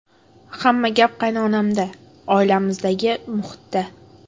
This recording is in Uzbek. Hamma gap qaynonamda, oilamizdagi muhitda.